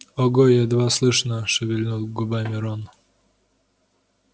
ого едва слышно шевельнул губами рон